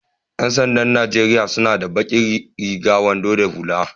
Yan sanda'n Nijeriya suna sa baki riga, wando da hulla.